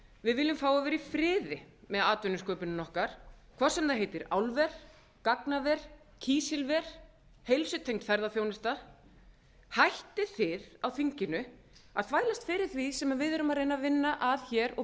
við viljum fá að vera í friði með atvinnusköpunina okkar hvort sem það heitir álver gagnaver kísilver eða heilsutengd ferðaþjónusta hættið þið á þinginu að þvælast fyrir því sem við erum að reyna að vinna að hér og